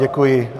Děkuji.